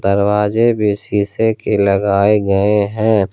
दरवाजे भी शीशे के लगाए गए है।